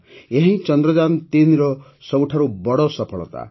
ଏହାହିଁ ଚନ୍ଦ୍ରଯାନ୩ର ସବୁଠାରୁ ବଡ଼ ସଫଳତା